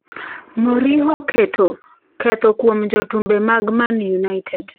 Mourinho keto ketho kuom jotumbe mag Man United